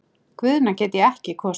Guðna get ég ekki kosið.